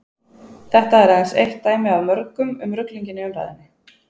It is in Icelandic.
Þetta er aðeins eitt dæmi af mörgum um ruglinginn í umræðunni.